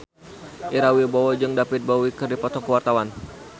Ira Wibowo jeung David Bowie keur dipoto ku wartawan